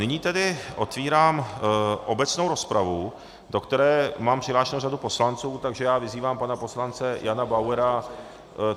Nyní tedy otevírám obecnou rozpravu, do které mám přihlášenou řadu poslanců, takže já vyzývám pana poslance Jana Bauera.